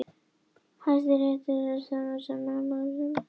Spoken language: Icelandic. Hæstiréttur staðfesti þann úrskurð í dag